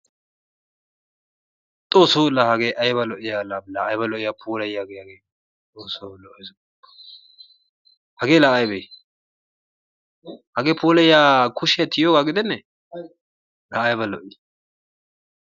Xoosso la hagee ayba lo''iya la la ayba lo''iya puulaayiyage hagee! Xoosso lo''ees gooppa! Hagee la aybe? Hagee puulayiya kushiya tiyiyoga giidene? La ayba lo''i!